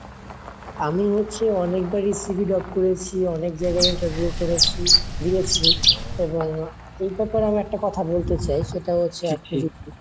আমি হচ্ছে অনেক বারই CV drop করেছি, অনেক জায়গায় interview করেছি দিয়েছি এবং এ ব্যাপারে আমি একটা কথা বলতে চাই সেটা হচ্ছে